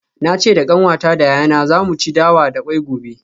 Na ce da kanwata da yayana za mu ci dawa da kwai gobe.